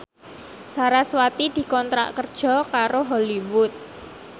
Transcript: sarasvati dikontrak kerja karo Hollywood